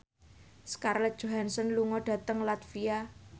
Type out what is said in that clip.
Scarlett Johansson lunga dhateng latvia